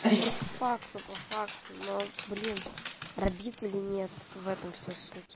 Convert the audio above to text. да по факту по факту но блин рабителей нет в этом вся суть